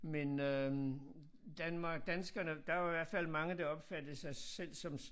Men øh Danmark danskerne der var jo i hvert fald mange der opfattede sig selv som